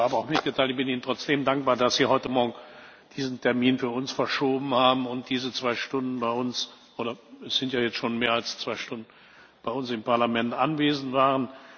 Das hatte ich Ihnen vorab auch mitgeteilt. Ich bin Ihnen trotzdem dankbar, dass Sie heute Morgen diesen Termin für uns verschoben haben und diese zwei Stunden bei uns oder es sind ja jetzt schon mehr als zwei Stunden im Parlament anwesend waren.